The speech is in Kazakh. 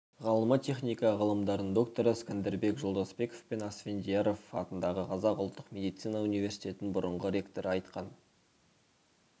ғалымы техника ғылымдарының докторы скандербек жолдасбековпен асфендияров атындағы қазақ ұлттық медицина университетінің бұрынғы ректоры айтқан